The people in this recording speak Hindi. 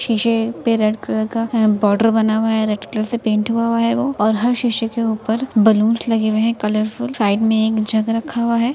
शीशे पे रेड कलर का बॉर्डर बना हुआ है। रेड कलर से पेंट हुआ हुआ है वो और हर शीशे के ऊपर बलून्स लगे हुए हैं कलरफुल साइड में एक जग रखा हुआ है।